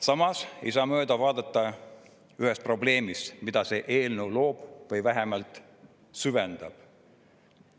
Samas ei saa mööda vaadata ühest probleemist, mida see eelnõu loob või vähemalt süvendab.